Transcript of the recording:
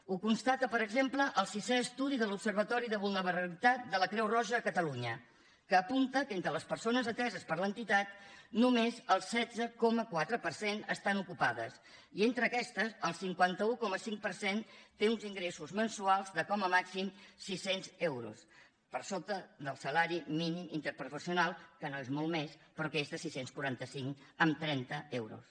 ho constata per exemple el sisè estudi de l’observatori de vulnerabilitat de la creu roja a catalunya que apunta que entre les persones ateses per l’entitat només el setze coma quatre per cent estan ocupades i entre aquestes el cinquanta un coma cinc per cent té uns ingressos mensuals de com a màxim sis cents euros per sota del salari mínim interprofessional que no és molt més però que és de sis cents i quaranta cinc coma trenta euros